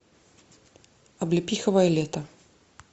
облепиховое лето